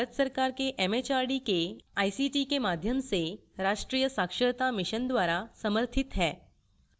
यह भारत सरकार के एमएचआरडी के आईसीटी के माध्यम से राष्ट्रीय साक्षरता mission द्वारा समर्थित है